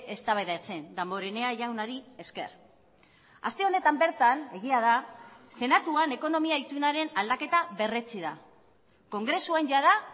eztabaidatzen damborenea jaunari esker aste honetan bertan egia da senatuan ekonomia itunaren aldaketa berretsi da kongresuan jada